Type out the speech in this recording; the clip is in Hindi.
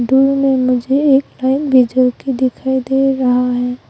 दूर में मुझे एक लाई दिखाई दे रहा है।